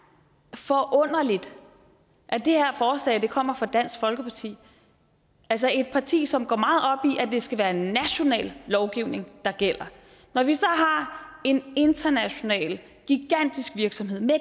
er forunderligt at det her forslag kommer fra dansk folkeparti et parti som går at det skal være national lovgivning der gælder når vi så har en international gigantisk virksomhed med